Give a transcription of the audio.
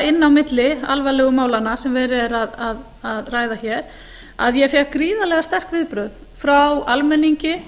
á milli alvarlegu málanna sem verið er að ræða hér að ég fékk gríðarlega sterk viðbrögð frá almenningi